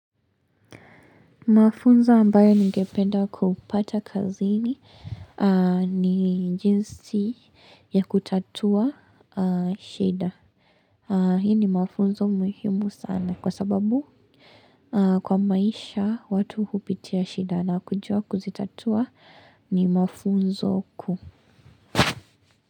Mafunzo ambayo ningependa kupata kazini ni jinsi ya kutatua shida. Hii ni mafunzo muhimu sana kwa sababu kwa maisha watu hupitia shida na kujua kuzitatua ni mafunzo kuu.